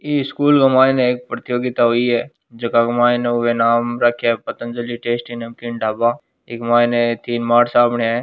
इ स्कूल के मायने एक प्रतियोगिता हुई है जका के मायने पतंजलि टेस्ट नमकीन ढ़ाबा इक मायने ए तीन मारसाबन्यां है।